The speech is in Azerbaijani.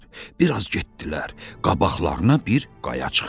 Bir az getdilər, qabaqlarına bir qaya çıxdı.